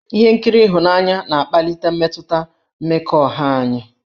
Ihe nkiri ịhụnanya na-akpali mmetụta mmekọahụ anyị.